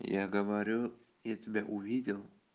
я говорю я тебя увидел